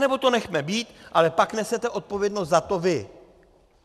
Nebo to nechme být, ale pak nesete odpovědnost za to vy.